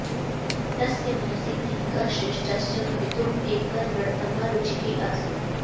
तस्य मनसि धनिकः श्रेष्ठश्च भवितुम् एका दृढतमा रुचिः आसीत्